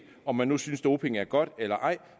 om man nu synes doping er godt eller ej